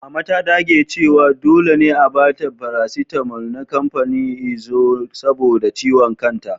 Mama ta dage cewa dole ne a ba ta faraaitamal na kamfanin imzo saboda ciwon kanta.